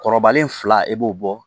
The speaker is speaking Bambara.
Kɔrɔbalen fila e b'o bɔ